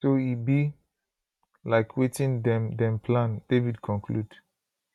so e be like wetin dem dem plan david conclude